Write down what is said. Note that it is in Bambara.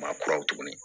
Ma kuraw tuguni